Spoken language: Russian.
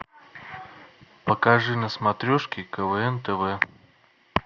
покажи на смотрешке квн тв